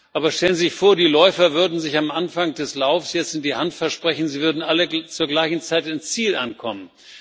Aber stellen Sie sich vor, die Läufer würden sich am Anfang des Laufs jetzt in die Hand versprechen, sie würden alle zur gleichen Zeit im Ziel ankommen.